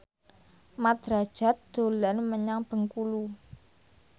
Mat Drajat dolan menyang Bengkulu